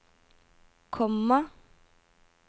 komma